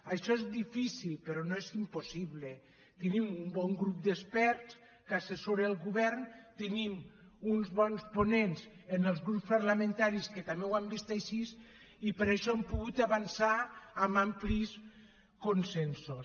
això és difícil però no és impossible tenim un bon grup d’experts que assessora el govern tenim uns bons ponents en els grups parlamentaris que també ho han vist així i per això hem pogut avançar amb amplis consensos